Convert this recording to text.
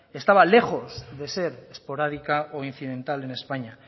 estaba lejos de ser esporádica o incidental en españa